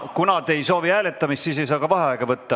Kuna te ei soovi hääletamist, siis ei saa ka vaheaega võtta.